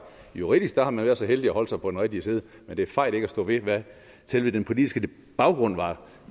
juridisk var man så heldig at holde sig på den rigtige side men det er fejt ikke at stå ved hvad selve den politiske baggrund var